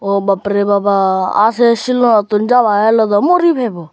oh babbre baba aa se silunottun jaba heley dow muri pebow.